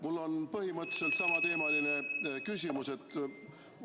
Mul on põhimõtteliselt samateemaline küsimus.